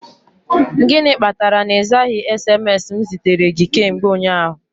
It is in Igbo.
Gịnị kpatara na ịzaghị SMS m zitere gị kemgbe ụnyaahụ?